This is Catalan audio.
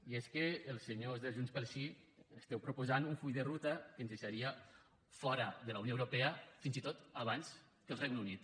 i és que els senyors de junts pel sí esteu proposant un full de ruta que ens deixaria fora de la unió europea fins i tot abans que el regne unit